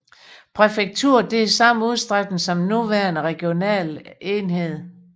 Præfekturet havde samme udstrækning som den nuværende regionale enhed